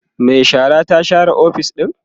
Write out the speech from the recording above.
Mai shara ta share ofis ɗin